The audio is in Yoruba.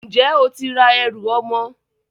Ǹjẹ́ o ti ra ẹrù ọmọ?